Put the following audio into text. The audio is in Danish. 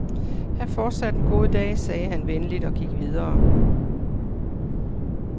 Hav fortsat en god dag, sagde han venligt og gik videre.